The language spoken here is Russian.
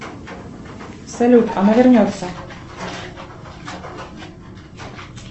салют она вернется